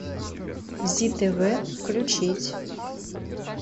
зи тв включить